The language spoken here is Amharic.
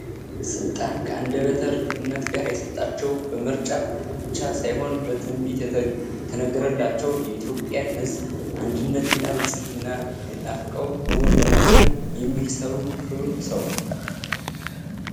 ስልጣን ከአንደበተ ርቱነት ጋር የተሰጣቸው ፤ በምርጫ ቦቻ ሳይሆን በትንቢት የተነገረላቸው ፤ የኢትዮጵያን ሕዝብ አንድነት እና ብልፅግና ናፍቀው እውን ለማድረግ የሚሰሩ ክቡር ሰው